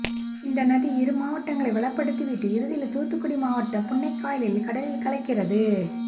இந்த நதி இரு மாவட்டங்களை வளப்படுத்தி விட்டு இறுதியில் தூத்துக்குடி மாவட்டம் புன்னைக்காயலில் கடலில் கலக்கிறது